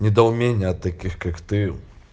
недоумение от таких как ты